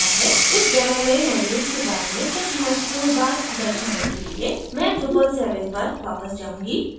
इस demo में modules के बारे में कुछ महत्वपूर्ण बात दर्शाने के लिए मैं drupal 7 पर वापस जाऊँगी